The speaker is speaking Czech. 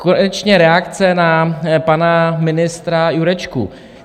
Konečně reakce na pana ministra Jurečku.